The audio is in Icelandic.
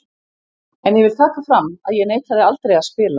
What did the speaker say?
En ég vil taka fram að ég neitaði aldrei að spila.